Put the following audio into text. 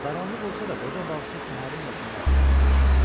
Qaranlıq olsa da, qoca balıqçı səhərin yaxınlaşdığını duyurdu.